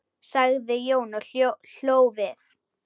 sagði Jón og hló við.